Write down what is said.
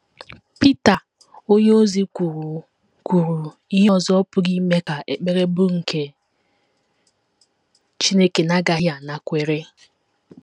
Pita onyeozi kwuru kwuru ihe ọzọ pụrụ ime ka ekpere bụrụ nke Chineke na - agaghị anakwere.